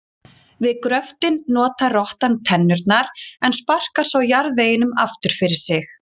Við gröftinn notar rottan tennurnar en sparkar svo jarðveginum aftur fyrir sig.